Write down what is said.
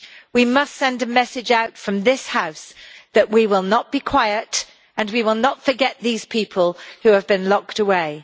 We must send a message out from this House that we will not be quiet and we will not forget these people who have been locked away.